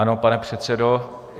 Ano, pane předsedo.